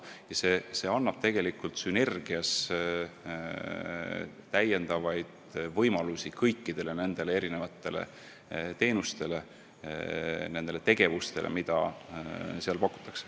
Ja see tekitab tegelikult sünergia, mis haarab kõiki neid teenuseid, kõiki neid tegevusi, mida seal pakutakse.